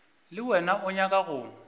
le wena o nyaka go